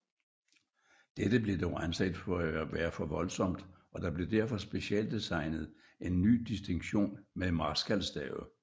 Dette blev dog anset for at være for voldsomt og der blev derfor specialdesignet en ny distinktion med marskalstave